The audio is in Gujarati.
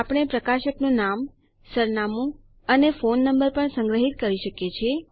આપણે પ્રકાશકનું નામ સરનામું અને ફોન નંબર પણ સંગ્રહીત કરી શકીએ છીએ